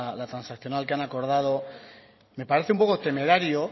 la transaccional que han acordado me parece un poco temerario